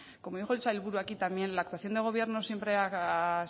como dijo el sailburu aquí también la actuación del gobierno